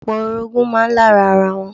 Opo orogun máa ń lára ara wọn.